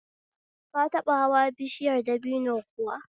Ka taɓa hanwa bishiyar dabino kuwa?